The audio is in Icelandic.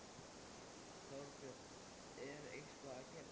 Þorbjörn: Er eitthvað að gerast?